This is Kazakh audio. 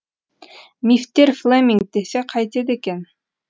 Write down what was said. мистер флеминг десе қайтеді екен